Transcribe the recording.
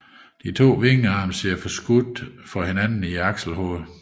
De to vingearme sidder forskudt for hinanden i akselhovedet